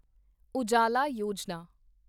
Ujala Yojana